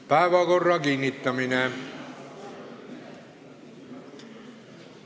Päevakorra kinnitamine.